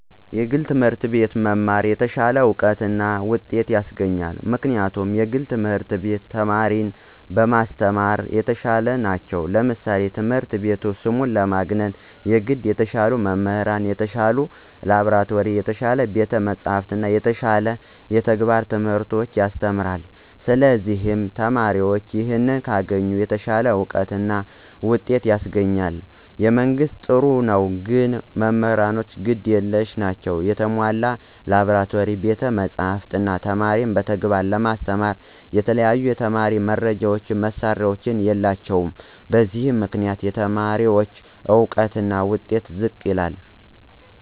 የግል ትምህርት አቤት መማር የተሻለ እውቀት እና ውጤት ያሰገኛል ምክንያቱም የግል ትምህርት ቤት ተማሪን በማሰተማራ የተሻሉ ነቸው ለምሳሌ ትምህረት ቤቱ ስሙን ለማግነነ የገድ የተሻሉ መምህራን፣ የተሻለ ላብራቶሪ፣ የተሻለ ቤተ መፅሐፍት እና የተሻለ የተግባረ ትምህርቶች ያሰተምራለ ስለዚህ ተማሪዎችም ይህን ካገኙ የተሻለ አውቀት እና ውጤት ያስገኛል። የመንግስት ጥሩ ነው ግን መምህራኖቹ ግድ የለሽ ናቸው የተሞላ ላብራቶሪ፣ ቤተ መፅሐፍ፣ እነ ተማሪን በተግባር ለማስተማራ የተለያዩ የተማሪ መርጃ መሳሪያዎች የላቸውም በዚህ ምክንያት የተማሪዎች እውቀትና ውጤት ዝቅ ይላል።